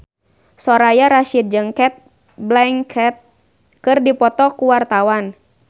Soraya Rasyid jeung Cate Blanchett keur dipoto ku wartawan